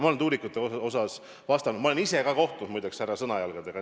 Ma olen tuulikute kohta vastanud, ma olen ise ka kohtunud, muide, härrade Sõnajalgadega.